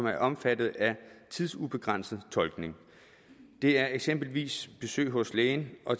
er omfattet af tidsubegrænset tolkning det er eksempelvis besøg hos lægen og